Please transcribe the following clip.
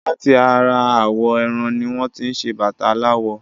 Láti ara awọ̀ ẹran ní wọ́n tí ṣé bàtà aláwọ̀